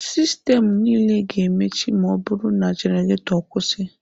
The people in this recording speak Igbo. Sistemụ niile ga-emechi ma ọ bụrụ na genareto kwụsị.